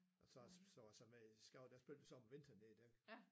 Og så så var jeg så med i skabet der spillede vi så om vinteren nede i den